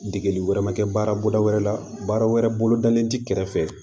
Degeli wɛrɛ ma kɛ baara wɛrɛ la baara wɛrɛ bolodalen ti kɛrɛfɛ